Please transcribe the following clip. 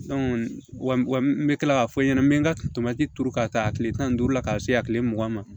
n bɛ tila k'a fɔ n ɲɛna n bɛ n ka turu ka taa tile tan ni duuru la ka se a kile mugan ma